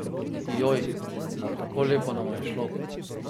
Joj, pa tako lepo nama je šlo!